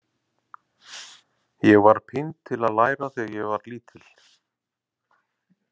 Ég var pínd til að læra þegar ég var lítil.